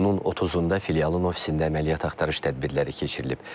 İyunun 30-da filialın ofisində əməliyyat axtarış tədbirləri keçirilib.